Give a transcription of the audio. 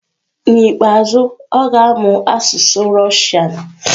N'ikpeazụ, ọ ga-amụ asụsụ Russian.